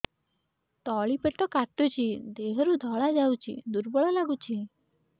ତଳି ପେଟ କାଟୁଚି ଦେହରୁ ଧଳା ଯାଉଛି ଦୁର୍ବଳ ଲାଗୁଛି